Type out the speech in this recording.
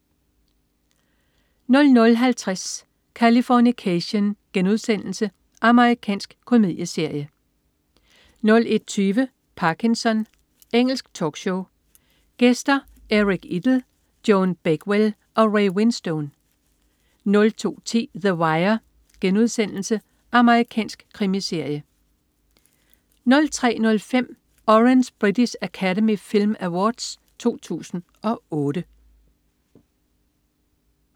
00.50 Californication.* Amerikansk komedieserie 01.20 Parkinson. Engelsk talkshow. Gæster: Eric Idle, Joan Bakewell og Ray Winstone 02.10 The Wire.* Amerikansk krimiserie 03.05 Orange British Academy Film Awards 2008